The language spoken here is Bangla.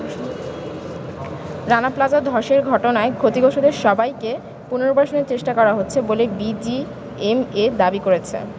রানা প্লাজা ধসের ঘটনায় ক্ষতিগ্রস্তদের সবাইকে পুনর্বাসনের চেষ্টা করা হচ্ছে বলে বিজিএমইএ দাবি করেছে।